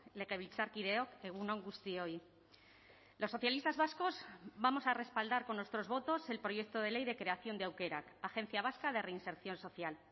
legebiltzarkideok egun on guztioi los socialistas vascos vamos a respaldar con nuestros votos el proyecto de ley de creación de aukerak agencia vasca de reinserción social